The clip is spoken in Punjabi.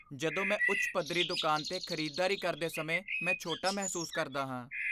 ਜਦੋਂ ਮੈਂ ਉੱਚ ਪੱਧਰੀ ਦੁਕਾਨ 'ਤੇ ਖ਼ਰੀਦਦਾਰੀ ਕਰਦੇ ਸਮੇਂ ਮੈਂ ਛੋਟਾ ਮਹਿਸੂਸ ਕਰਦਾ ਹਾਂ।